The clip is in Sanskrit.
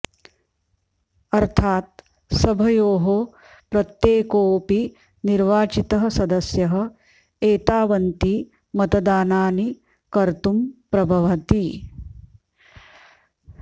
अर्थात् सभयोः प्रत्येकोऽपि निर्वाचितः सदस्यः एतावन्ति मतदानानि कर्तुं प्रभवति